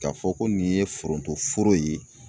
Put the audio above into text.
K'a fɔ ko nin ye foronto foro ye